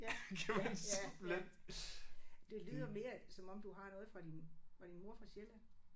Ja ja ja ja. Det lyder mere som om du har noget fra din var din mor fra Sjælland?